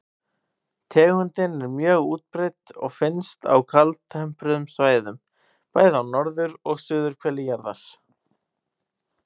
Tegundin er mjög útbreidd og finnst á kaldtempruðum svæðum, bæði á norður- og suðurhveli jarðar.